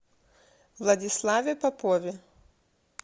владиславе попове